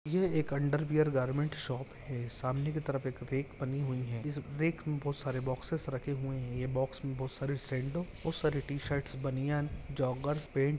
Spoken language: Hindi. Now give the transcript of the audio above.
अंडर वियर गारमेन्ट शॉप है सामने की तरफ एक रेक बनी हुई है इस रेक मे बहुत सारे बॉक्सेस रखे हुए है ये बॉक्स में बहुत सारी सैंडो बहुत सारी टीशर्ट्स बनियान जॉगर्स पेंट--